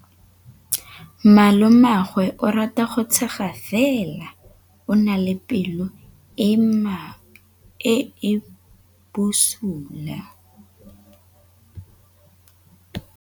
Malomagwe o rata go tshega fela o na le pelo e e bosula.